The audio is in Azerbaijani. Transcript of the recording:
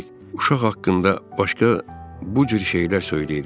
Uşaq haqqında başqa bu cür şeylər söyləyirdi.